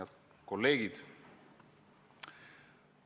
Head kolleegid!